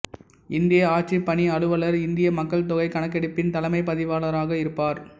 இந்திய ஆட்சிப் பணி அலுவலர் இந்திய மக்கள்தொகை கணக்கெடுப்பின் தலைமைப் பதிவாளராக இருப்பர்